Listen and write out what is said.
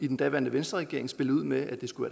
den daværende venstreregeringen spillede ud med at det skulle